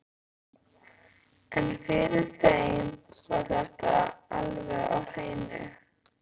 En fyrir þeim var þetta alveg á hreinu.